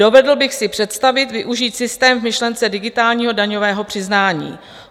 Dovedl bych si představit využít systém v myšlence digitálního daňového přiznání.